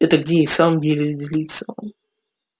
это где и в самом деле злится он